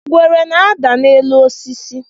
ngwere na-ada n'elu osis